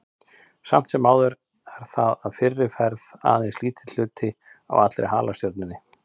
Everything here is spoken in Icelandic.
Samt sem áður er það að fyrirferð aðeins lítill hluti af allri halastjörnunni.